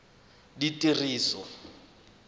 ditiriso